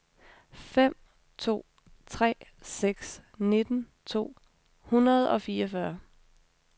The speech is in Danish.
fem to tre seks nitten to hundrede og fireogfyrre